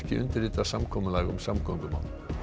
undirritað samkomulag um samgöngumál